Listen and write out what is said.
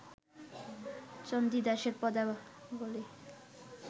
চণ্ডীদাসের পদাবলী